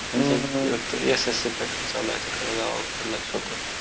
CBSE pattern चालू आहे तिकडं गावाकडलं छोटं